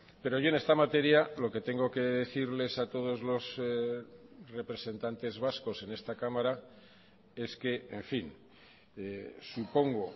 pero yo en esta materia lo que tengo que decirles a todos los representantes vascos en esta cámara es que en fin supongo